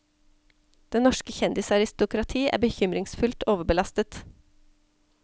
Det norske kjendisaristokrati er bekymringsfullt overbelastet.